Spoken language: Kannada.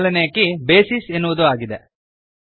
ಮೊದಲನೇ ಕೀ ಬೇಸಿಸ್ ಎನ್ನುವುದು ಆಗಿದೆ